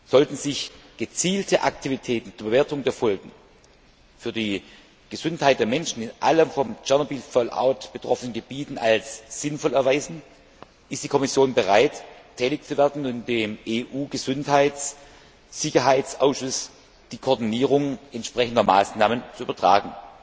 Sollten sich gezielte Aktivitäten zur Bewertung der Folgen für die Gesundheit der Menschen in allen vom Tschernobyl Fallout betroffenen Gebieten als sinnvoll erweisen, ist die Kommission bereit, tätig zu werden und dem EU Gesundheitssicherheitsausschuss die Koordinierung entsprechender Maßnahmen zu übertragen.